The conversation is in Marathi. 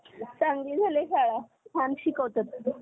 चांगली झालीय शाळा छान शिकवतात